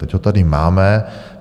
Teď ho tady máme.